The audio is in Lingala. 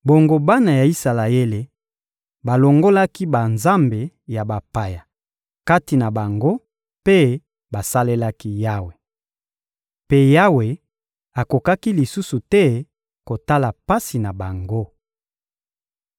Bongo bana ya Isalaele balongolaki banzambe ya bapaya kati na bango mpe basalelaki Yawe. Mpe Yawe akokaki lisusu te kotala pasi na bango.